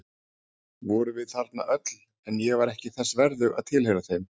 Við vorum þarna öll en ég var ekki þess verðug að tilheyra þeim.